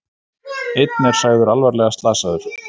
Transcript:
Einn er sagður alvarlega slasaður